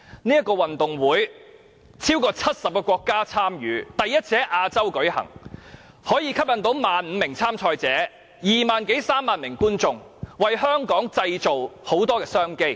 這個運動會超過70個國家參與，第一次在亞洲舉行，可以吸引 15,000 名參賽者，二萬多三萬名觀眾，為香港製造眾多商機。